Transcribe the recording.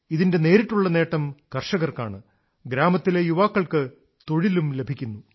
ഇതിന്റെ നേരിട്ടുള്ള നേട്ടം കർഷകർക്കാണ് ഗ്രാമത്തിലെ യുവാക്കൾക്ക് തൊഴിലും ലഭിക്കുന്നു